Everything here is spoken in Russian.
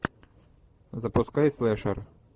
запускай слэшер